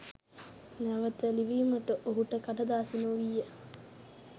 නැවත ලිවීමට ඔහුට කඩදාසි නොවීය